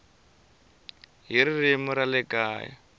hi ririmi ra le kaya